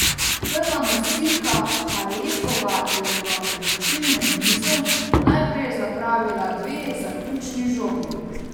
Prva nosilka Halepova je v odločilnem nizu najprej zapravila dve zaključni žogi.